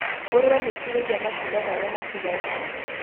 Ngũrwe nĩ cirĩire matunda marĩa matigarire